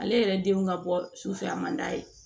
Ale yɛrɛ denw ka bɔ sufɛ a man d'a ye